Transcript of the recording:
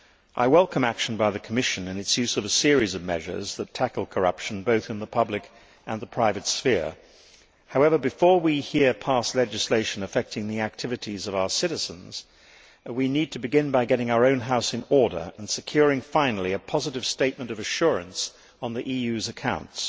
I welcome action by the Commission and its use of a series of measures that tackle corruption both in the public and the private sphere. However, before we here pass legislation affecting the activities of our citizens, we need to begin by getting our own House in order and securing finally a positive statement of assurance on the EU's accounts.